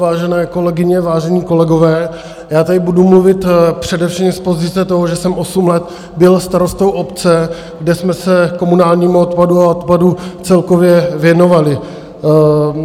Vážené kolegyně, vážení kolegové, já tady budu mluvit především z pozice toho, že jsem osm let byl starostou obce, kde jsme se komunálnímu odpadu a odpadu celkově věnovali.